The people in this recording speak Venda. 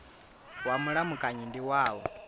wa mulamukanyi ndi wa u